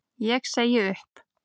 Ég segi upp!